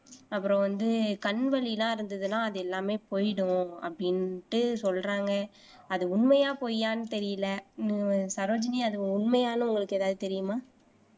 அப்புறம் வந்து கண் வலி எல்லாம் இருந்ததுன்னா அது எல்லாமே போயிடும் அப்படின்ட்டு சொல்றாங்க அது உண்மையா பொய்யான்னு தெரியலே சரோஜினி அது உண்மையான்னு உங்களுக்கு ஏதாவது தெரியுமா